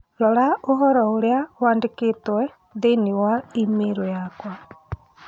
rora ũhoro ũrĩa wandĩkĩtwo thĩinĩ wa i-mīrū yakwa